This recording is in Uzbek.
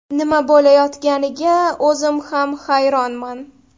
Nima bo‘layotganiga o‘zim ham hayronman.